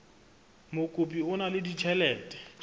mokopi o na le ditjhelete